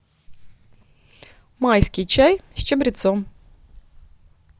майский чай с чабрецом